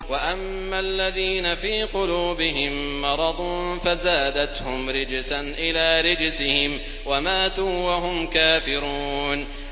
وَأَمَّا الَّذِينَ فِي قُلُوبِهِم مَّرَضٌ فَزَادَتْهُمْ رِجْسًا إِلَىٰ رِجْسِهِمْ وَمَاتُوا وَهُمْ كَافِرُونَ